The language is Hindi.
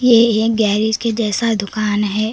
यह एक गैरेज के जैसा दुकान है।